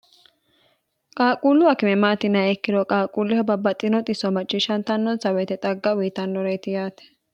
qaaquullu akime maati yiniha ikkiro qaaquulleho babbaxxino xiso macciishshantannosa woyite xagga uyiitannoreti yaate